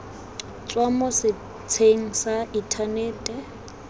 tswa mo setsheng sa inthanete